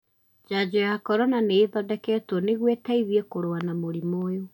Njajo ya corona nĩ ĩthondeketwo nĩguo ĩteithie kũrũa na mũrimũ ũyũ.